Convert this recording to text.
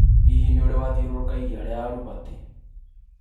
Hĩhĩ nĩ irĩ wathĩũrũrũka iria ria Albert ?